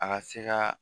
A ka se ka